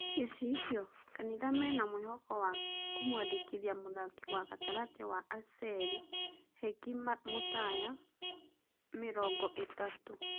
(Gicicio) Kanitha mena mũĩhoko wa kũmwandĩkithia mũthaki wa-gatagatĩ wa Aseli Heki Mutaya, mĩrongoĩtatũ.